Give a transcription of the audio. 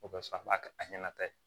O bɛ faamu ba kɛ a ɲɛna tan ye